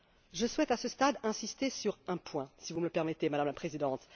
Je souhaite, à ce stade, insister sur un point, si vous me le permettez, Madame la Présidente.